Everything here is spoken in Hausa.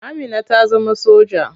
Amina ta zama soja.